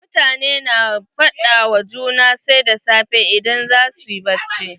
Mutane na fada wa juna sai da safe idan zasu yi bacci.